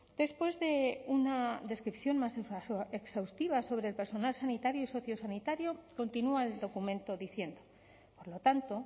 después de una descripción más exhaustiva sobre el personal sanitario y sociosanitario continúa el documento diciendo por lo tanto